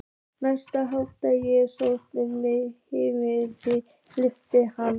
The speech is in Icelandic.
Næsta hálfa sólarhringinn, hið minnsta, fullyrti hann.